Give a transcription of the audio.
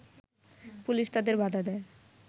police তাদের বাধা দেয়